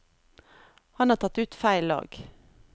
Han har tatt ut feil lag.